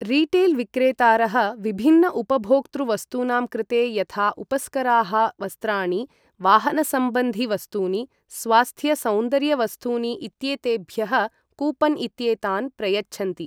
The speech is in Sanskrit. रीटेल् विक्रेतारः विभिन्न उपभोक्तृ वस्तूनां कृते यथा उपस्कराः, वस्त्राणि, वाहनसंबन्धि वस्तूनि, स्वास्थ्य सौन्दर्य वस्तूनि इत्येतेभ्यः कूपन् इत्येतान् प्रयच्छन्ति।